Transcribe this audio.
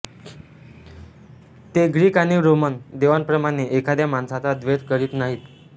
ते ग्रीक आणि रोमन देवांप्रमाणे एखाद्या माणसाचा द्वेष करीत नाहीत